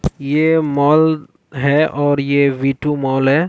ये मॉल है और ये वी -टू मॉल हैं।